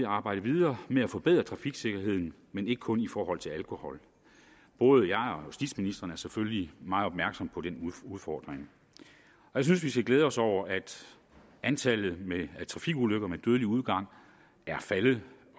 arbejde videre med at forbedre trafiksikkerheden men ikke kun i forhold til alkohol både jeg og justitsministeren er selvfølgelig meget opmærksomme på den udfordring jeg synes vi skal glæde os over at antallet af trafikulykker med dødelig udgang er faldet